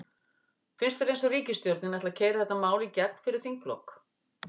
Finnst þér eins og ríkisstjórnin ætli að keyra þetta mál í gegn fyrir þinglok?